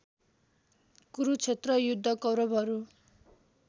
कुरुक्षेत्र युद्ध कौरवहरू